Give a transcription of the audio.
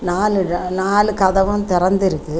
நாலு ர நாலு கதவும் தெறந்திற்கக்கு.